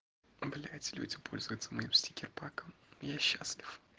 блять люди пользуются моим стикерпаком я счастлив